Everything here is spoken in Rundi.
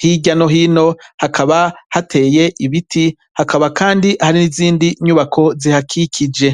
hirya no hino hakaba hateye ibiti hakaba kandi hari n'izindi nyubako zihakikije.